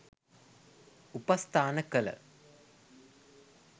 උපස්ථාන කළ